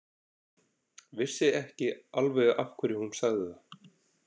Vissi ekki alveg af hverju hún sagði það.